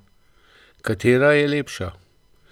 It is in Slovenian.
Katera je lepša?